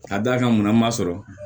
Ka d'a kan munna ma sɔrɔ